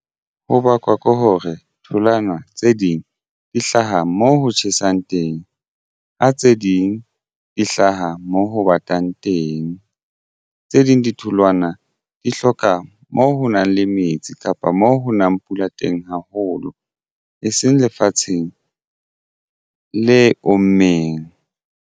Ho bakwa ke hore tholwana tse ding di hlaha moo ho tjhesang teng ha tse ding di hlaha mo ho batang teng. Tse ding ditholwana di hloka moo ho nang le metsi kapa moo ho nang pula teng haholo e seng lefatsheng le ommeng.